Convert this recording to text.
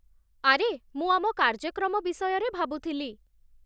ଆରେ, ମୁଁ ଆମ କାର୍ଯ୍ୟକ୍ରମ ବିଷୟରେ ଭାବୁଥିଲି